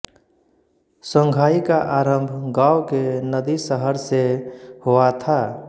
Songhai का आरंभ गाव के नदी शहर से हुआ था